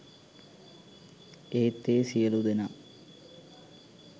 ඒත් ඒ සියලූ දෙනා